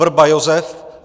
Vrba Josef